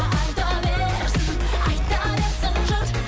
айта берсін айта берсін жұрт